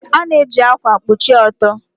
A na-eji ákwà kpuchie ọtọ.